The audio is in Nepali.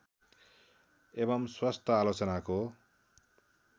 एवम् स्वस्थ आलोचनाको